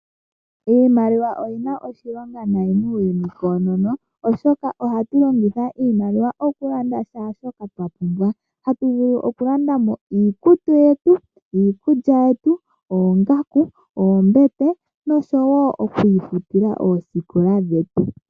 Iimaliwa oyina oshilonga nayi muuyuni koonono oshoka ohatu longitha iimaliwa okulanda shaa shoka twa pumbwa. Hatu vulu okulanda mo iikutu yetu, iikulya yetu, oongaku, oombete noshowo okwiifutila oosikola dhetu.